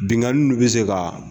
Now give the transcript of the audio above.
Binnkanni bɛ se ka